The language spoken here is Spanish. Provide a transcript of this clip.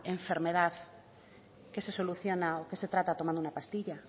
enfermedad que se soluciona o que se trata tomando una pastilla